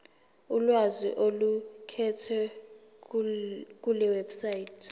ulwazi oluqukethwe kulewebsite